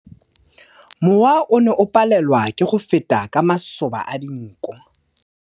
Mowa o ne o palelwa ke go feta ka masoba a dinko.